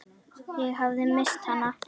Ég hafði misst hana.